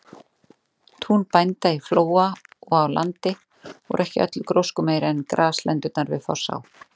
Tún bænda í Flóa og á Landi voru ekki öllu gróskumeiri en graslendurnar við Fossá.